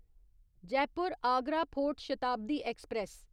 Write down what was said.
Jaipur Agra fort Shatabdi express